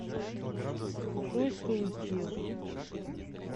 джой стоимость евро